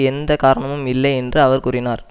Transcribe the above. எந்த காரணமும் இல்லை என்று அவர் கூறினார்